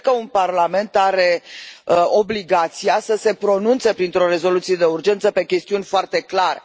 Cred că un parlament are obligația să se pronunțe printr o rezoluție de urgență pe chestiuni foarte clare.